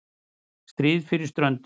STRÍÐ FYRIR STRÖNDUM